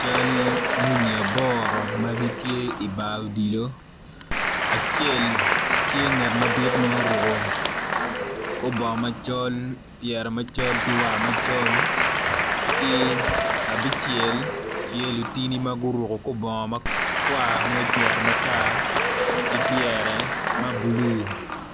Cal muni aboro ma gitye ibar odilo acel tye nget madit ma oruku kor bongo macol pyere macol ki war macol ki abicel tye lutini ma guruku kor bongo makwar ma ocero matar ki pyere ma bulu